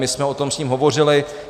My jsme o tom s ním hovořili.